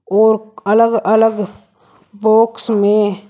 और अलग अलग बॉक्स में--